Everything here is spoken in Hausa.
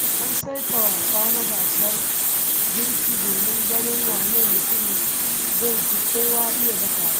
An saita wasa na gasar girki domin ganin wane mutum zai fi kowa iya dafawa.